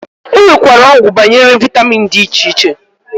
Enwekwere ogwu banyere vitamin di iche iche.